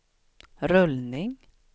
rullning